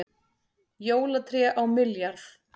Jólatré á milljarð